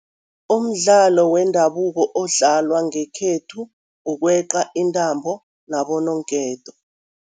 Umdlalo wendabuko odlalwa ngekhethu kukweqa intambo nabo noonketo.